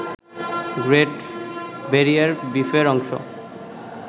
great barrier রিফের অংশ